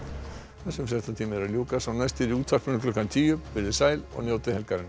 þessum fréttatíma er að ljúka sá næsti er í útvarpinu klukkan tíu veriði sæl og njótið helgarinnar